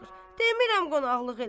Demirəm qonaqlıq elə.